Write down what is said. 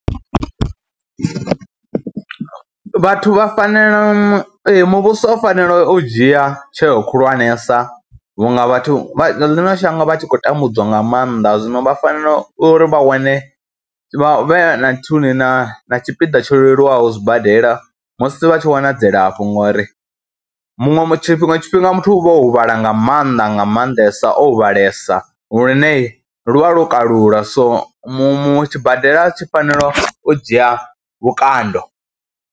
Vhathu vha fanela, ee muvhuso u fanela u dzhia tsheo khulwanesa vhunga vhathu vha ḽiṅo shango vha tshi khou tambudziwa nga maanḓa, zwino vha fanela uri vha wane vha vhe na nthuni na na tshipiḓa tsho leluwaho zwibadela musi vha tshi wana dzilafho ngori muṅwe tshiṅwe tshifhinga muthu u vha o huvhala nga maanḓa nga maanḓesa o huvhalesa lune lu vha lwo kalula so muṅwe tshibadela tshi fanelo u dzhia vhukando.